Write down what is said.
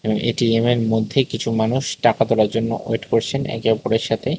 এটিএমের মধ্যে কিছু মানুষ টাকা তোলার জন্য ওয়েট করছেন একে অপরের সাথে।